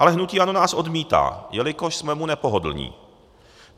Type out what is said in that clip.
Ale hnutí ANO nás odmítá, jelikož jsme mu nepohodlní.